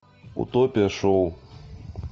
утопия шоу